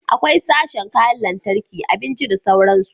Akwai sashen kayan lantarki, abinci da sauransu